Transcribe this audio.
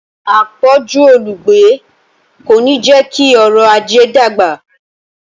“àpọ̀jù olùgbé ” kò ní jẹ́ kí ọrọ̀-ajé dàgbà.